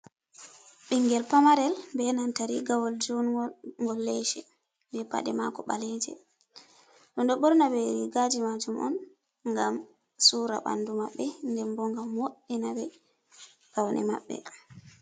Ɓingel pamarel benanta rigawol junggol ngol lese be pade mako ɓaleje en ɗo ɓorna ɓe rigaji majum on ngam sura ɓandu maɓɓe nden bo ngam wo'ina ɓe paune maɓɓe.